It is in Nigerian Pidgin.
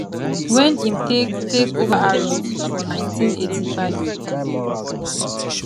wen im take take over harrods for 1985